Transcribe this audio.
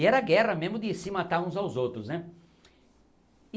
E era a guerra mesmo de se matar uns aos outros, né?